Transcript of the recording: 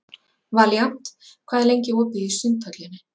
Valíant, hvað er lengi opið í Sundhöllinni?